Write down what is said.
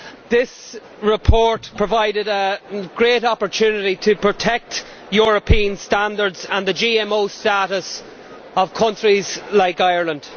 this report provided a great opportunity to protect European standards and the GMO status of countries like Ireland.